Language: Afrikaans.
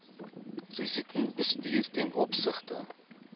risikobestuur ten opsigte